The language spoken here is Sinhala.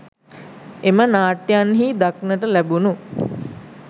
එම නාට්‍යයන්හි දක්නට ලැබුණු